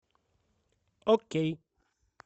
окей